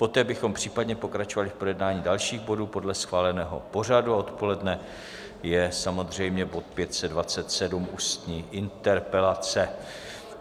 Poté bychom případně pokračovali v projednání dalších bodů podle schváleného pořadu a odpoledne je samozřejmě bod 527, ústní interpelace.